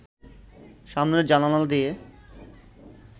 সামনের জানালা দিয়ে